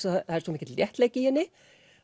það er svo mikill léttleiki í henni